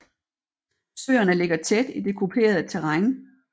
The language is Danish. Søerne ligger tæt i det kuperede terræn